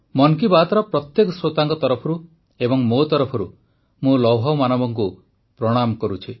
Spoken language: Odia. ମନ୍ କି ବାତ୍ର ପ୍ରତ୍ୟେକ ଶ୍ରୋତାଙ୍କ ତରଫରୁ ଏବଂ ମୋ ତରଫରୁ ମୁଁ ଲୌହମାନବଙ୍କୁ ପ୍ରଣାମ କରୁଛି